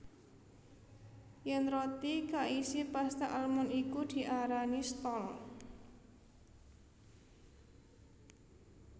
Yèn roti kaisi pasta almond iku diarani stol